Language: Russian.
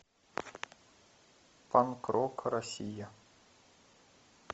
панк рок россия